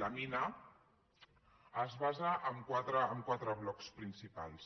lamina es basa en quatre blocs principals